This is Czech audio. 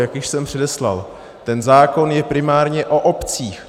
Jak již jsem předeslal, ten zákon je primárně o obcích.